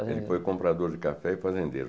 Ele foi comprador de café e fazendeiro.